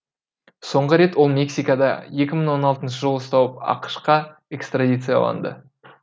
соңғы рет ол мексикада екі мың он алтыншы жылы ұсталып ақш қа экстрадицияланды